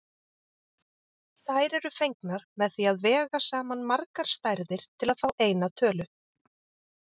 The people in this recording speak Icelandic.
Þær eru fengnar með því að vega saman margar stærðir til að fá eina tölu.